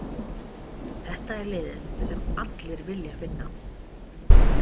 Þetta er liðið sem allir vilja vinna.